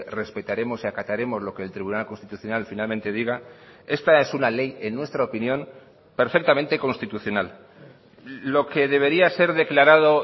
respetaremos y acataremos lo que el tribunal constitucional finalmente diga esta es una ley en nuestra opinión perfectamente constitucional lo que debería ser declarado